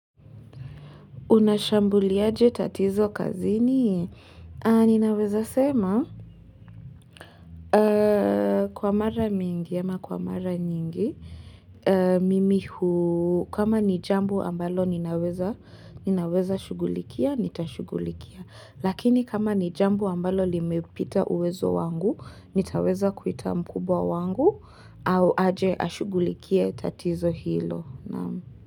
Unashambuli aje tatizo kazini? Ninaweza sema. Kwa mara mingi, ama kwa mara nyingi. Mimi huu, kama ni jamboa ambalo ninaweza shugulikia, nitashugulikia. Lakini kama ni jambo ambalo limepita uwezo wangu, nitaweza kuita mkubwa wangu, au aje ashugulikia tatizo hilo.